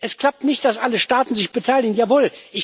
Es klappt nicht, dass alle Staaten sich beteiligen, jawohl.